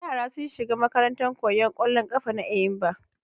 Yara sun shiga makarantan koyan kwallon kafa na Eyimba.